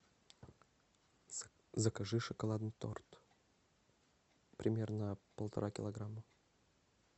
закажи шоколадный торт примерно полтора килограмма